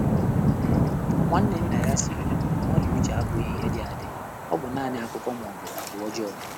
Nwá nwànnè nnà yá sìrì ọnwụ́ nà ọ́rị́à úchè ábụ́ghị́ ìhè dị̀ àdị́, ọ́ bụ́ nāànị́ ákụ́kụ́ mà ọ́ bụ̀ àgwà ọ́jọ́ọ́.